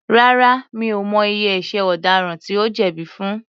Rárá, mi ò mọ iye ẹ̀ṣẹ̀ ọ̀daràn tí ó jẹ̀bi fun.